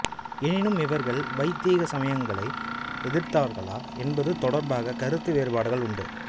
எனினும் இவர்கள் வைதீக சமயங்களை எதிர்த்தார்களா என்பது தொடர்பாக கருத்து வேறுபாடுகள் உண்டு